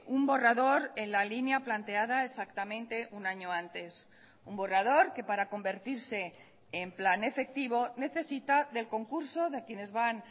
un borrador en la línea planteada exactamente un año antes un borrador que para convertirse en plan efectivo necesita del concurso de quienes van